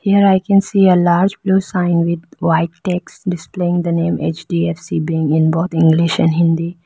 here i can see a large blue sign with white text displaying the name H_D_F_C bank in both english and hindi.